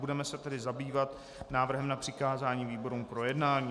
Budeme se tedy zabývat návrhem na přikázání výborům k projednání.